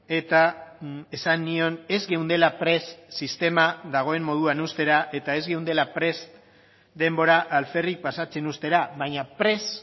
eta esan nion ez geundela prest sistema dagoen moduan uztera eta ez geundela prest denbora alferrik pasatzen uztera baina prest